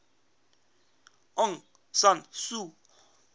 aung san suu